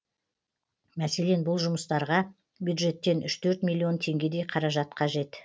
мәселен бұл жұмыстарға бюджеттен үш төрт миллион теңгедей қаражат қажет